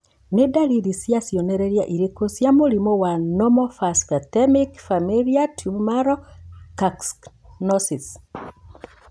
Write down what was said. Nĩ ndariri na cionereria irĩkũ cia mũrimũ wa Normophosphatemic familial tumoral calcinosis?